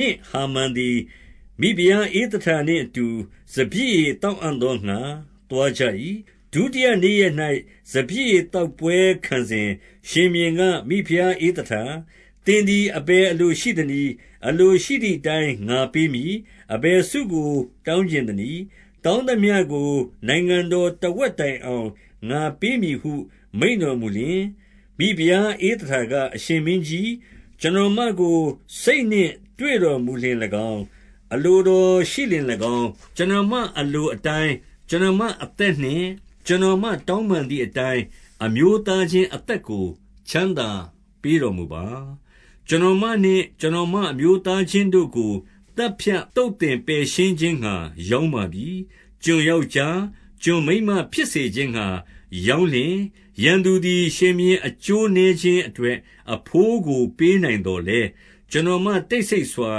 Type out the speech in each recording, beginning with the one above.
နှင့် ဟာမန်သည်၊ မိဖုရား ဧသတာနှင့်အတူ စပျစ်ရည်သောက်အံ့သောငှါ သွားကြ ၏။ ဒုတိယနေ့ရက်၌ စပျစ်ရည်သောက်ပွဲခံစဉ်၊ ရှင်ဘုရင်က မိဖုရားဧသတာ၊ သင်သည် အဘယ်အလို ရှိသနည်း။ အလိုရှိသည်အတိုင်း ငါပေးမည်။ အဘယ်ဆု ကို တောင်းချင်သနည်း။ တောင်းသမျှကို နိုင်ငံတော် တဝက်တိုင်အောင် ငါပေးမည်ဟု မိန့်တော်မူလျှင်၊ မိဖုရား ဧသတာက၊ အရှင်မင်းကြီး၊ ကျွန်တော်မ ကို စိတ်နှင့်တွေ့တော်မူလျှင်၎င်း၊ အလိုတော်ရှိလျှင်၎င်း၊ ကျွန်တော်မအလိုအတိုင်း ကျွန်တော်မအသက်နှင့် ကျွန်တော်မတောင်းပန်သည်အတိုင်း၊ အမျိုးသား ချင်းအသက်ကို ချမ်းသာပေးတော်မူပါ။ ကျွန်တော်မနှင့် ကျွန်တော်မအမျိုးသားချင်း တို့ကို သတ်ဖြတ် သုတ်သင်ပယ်ရှင်းခြင်းငှါ ရောင်းပါပြီ။ ကျွန်ယောက်ျား ကျွန်မိန်းမဖြစ်စေခြင်းငှါ ရောင်းလျှင်၊ ရန်သူသည် ရှင်ဘုရင် အကျိုးနည်းခြင်းအတွက် အဘိုးကို ပေးနိုင်သော်လည်း၊ ကျွန်တော်မတိတ်ဆိတ်စွာ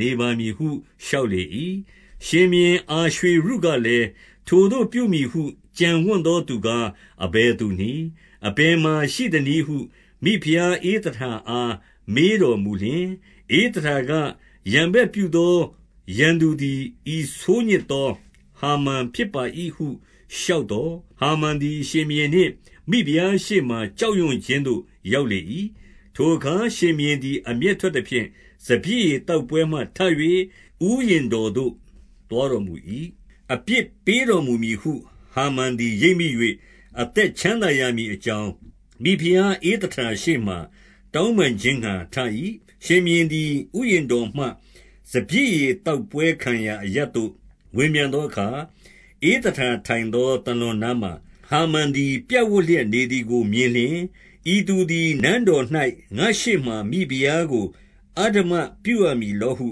နေပါမည် ဟု လျှောက်လေ၏။ ရှင်ဘုရင်အာရွှေရုကလည်း၊ ထိုသို့ပြုမည်ဟု ကြံဝံ့သောသူကား အဘယ်သူနည်း။ အဘယ်မှာရှိသနည်း ဟု မိဖုရားဧသတာအား မေးတော်မူလျှင်၊ ဧသတာက၊ ရန်ဘက်ပြုသော ရန်သူသည် ဤဆိုးညစ်သော ဟာမန်ဖြစ်ပါ၏ဟု လျှောက်သော်၊ ဟာမန်သည် ရှင်ဘုရင်နှင့်မိဖုရားရှေ့မှာ ကြောက်ရွံ့ခြင်း သို့ ရောက်လေ၏။ ထိုအခါ ရှင်ဘုရင်သည် အမျက်ထွက်သဖြင့်၊ စပျစ်ရည် သောက်ပွဲမှထ၍ ဥယျာဉ်တော်သို့ သွားတော် မူ၏။ အပြစ်ပေးတော်မူမည်ဟု ဟာမန်သည်ရိပ်မိ၍ အသက်ချမ်းသာရမည်အကြောင်း မိဖုရားဧသတာရှေ့ မှာ တောင်းပန်ခြင်းငှါထ၏။ ရှင်ဘုရင်သည် ဥယျာဉ်တော်မှ စပျစ်ရည် သောက်ပွဲခံရာအရပ် သို့ ဝင်ပြန်သောအခါ၊ ဧသတာထိုင် သော သာလွန်နားမှာ ဟာမန်သည် ပြပ်ဝပ်လျက်နေ သည်ကို မြင်လျှင်၊ ဤသူသည် နန်းတော်၌ ငါ့ရှေ့မှာ မိဖုရားကို အဓမ္မပြုရမည်လောဟု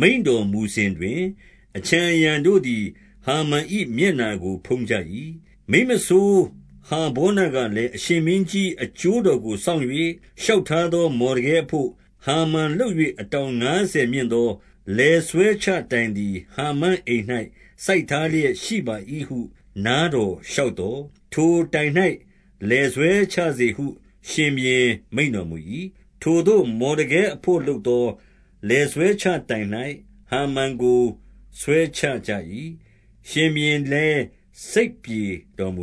မိန့်တော်မူစဉ်တွင်၊ အခြံအရံတို့သည် ဟာမန်၏ မျက်နှာကိုဖုံးကြ၏။ မိန်းမစိုးဟာဗောနကလည်း၊ အရှင်မင်းကြီး၏ အကျိုးတော်ကို စောင့်၍ လျှောက်ထားသော မော်ဒကဲ အဘို့ ဟာမန်လုပ်၍ အတောင်ငါးဆယ်မြင့်သော လည်ဆွဲချတိုင်သည်၊ ဟာမန်အိမ်၌ စိုက်ထားလျက် ရှိပါ၏ဟု နားတော်လျှောက်သော်၊ ထိုတိုင်၌ လည်ဆွဲ ချစေဟု ရှင်ဘုရင်မိန့်တော်မူ၏။ ထိုသို့မော်ဒကဲအဘို့လုပ်သော လည်ဆွဲချတိုင်၌ ဟာမန်ကို ဆွဲချကြ၏။ ရှင်ဘုရင်လည်း စိတ်ပြေတော် မူ